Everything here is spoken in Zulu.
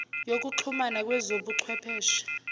yokuxhumana kwezobu chwepheshe